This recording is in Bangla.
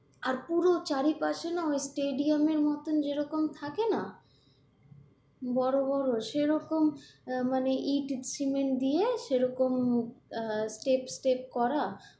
আর পুরো চারিপাশে না ওই স্টেডিয়ামের মতোন যেরকম থাকে না বড়ো বড়ো সেরকম মানে এর ইট সিমেন্ট দিয়ে সেরকম আহ চেক ফেক করা,